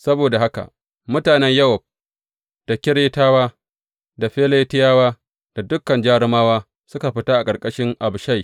Saboda haka mutanen Yowab da Keretawa da Feletiyawa da dukan jarumawa suka fita a ƙarƙashin Abishai.